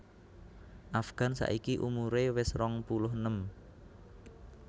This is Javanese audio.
Afgan saiki umure wes rong puluh enem